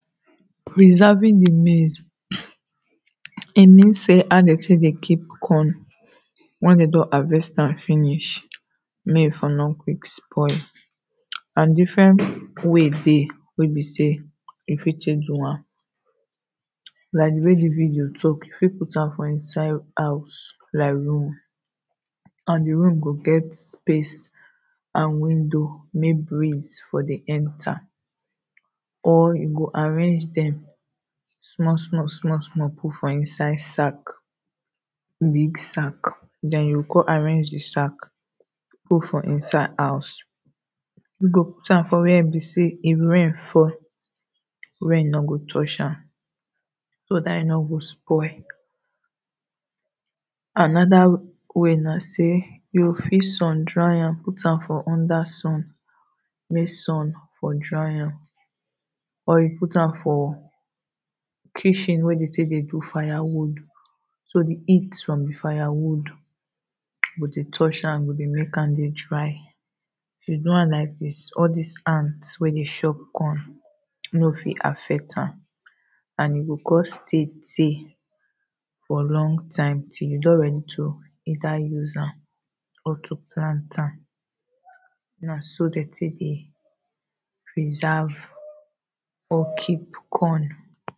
Preserving di maze, e mean sey how dey take dey keep corn wen dem don harvest am finish make e for no quick spoil and different way dey wey be sey you fit take do am like di way di video talk you fit put am for inside house like room and di room go get space and windo make breeze for dey enter or you go arrange dem small small put for inside sack big sack den you go kon arrange di sack put for inside house, you go put am for where be sey if rain fall rain no go touch am so dat e no go spoil anoda way na sey you go fit sun dry am put am for under sun make sun for dry am or you put am for kitchen wey dey take dey do firewood so di heat from di fire wood go dey touch am go dey make am dey dry. If you do am like dis all dis ant wey dey chop corn no fit affect am and e go kon stay tay for long time till you don ready to later use am or to plant am, na so dem take dey preserve or keep corn.